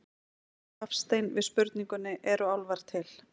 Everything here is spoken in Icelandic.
Hafstein við spurningunni Eru álfar til?